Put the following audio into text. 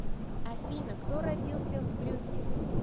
афина кто родился в брюгге